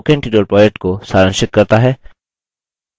यह spoken tutorial project को सारांशित करता है